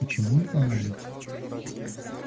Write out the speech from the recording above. почему не понадобится